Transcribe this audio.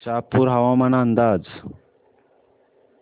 शहापूर हवामान अंदाज